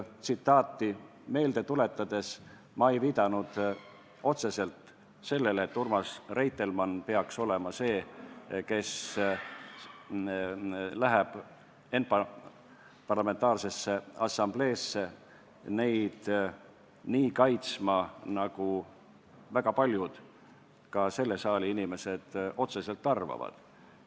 Seda meelde tuletades ei viidanud ma otseselt sellele, et Urmas Reitelmann peaks olema see, kes läheb ENPA-sse neid asju kaitsma nii, nagu väga paljud ka selle saali inimesed otseselt arvavad.